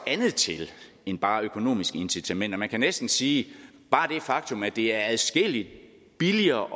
andet til end bare økonomiske incitamenter man kan næsten sige at faktum at det er adskilligt billigere